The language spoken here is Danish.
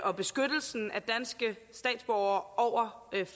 og beskyttelsen af danske statsborgere over